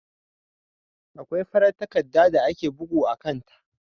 Akwai farar takarda da ake bugu a kan ta.